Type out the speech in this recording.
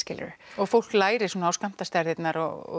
og fólk lærir á skammtastærðir og